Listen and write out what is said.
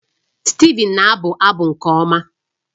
Steven na-abụ abụ nke ọma